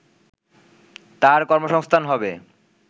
তার কর্মসংস্থান হবে